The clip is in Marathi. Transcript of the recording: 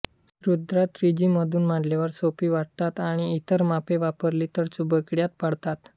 सुद्धा त्रिज्यीमधून मांडल्यावर सोपी वाटतात आणि इतर मापे वापरली तर बुचकळ्यात पाडतात